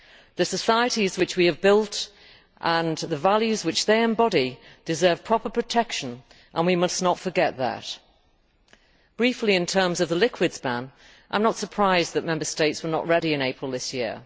The societies which we have built and the values which they embody deserve proper protection, and we must not forget that. Briefly, with regard to the liquids ban, I am not surprised that Member States were not ready in April of this year.